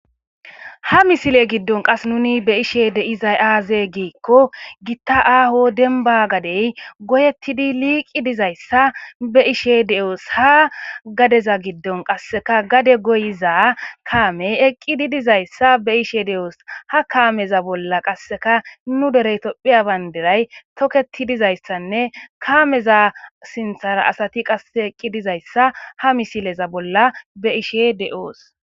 Ha misile giddon qas nuni be ishe deizay aaze giikko gitta aaho denba gadey goyettidi liiqi dizayssa be ishe de7oos ha gadeza giddon qasseka gade goyiza kaamey eqqidi dizayssa be ishe de7oos ha kaameza bolla qasseka nu derey tophiya baynderay toketi dizayssanne kaameza sinthara asati qasse eqqi dizayssa ha misileza bolla be ishe de7oos.